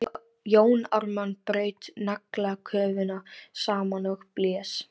Jón Ármann braut naglasköfuna saman og blés.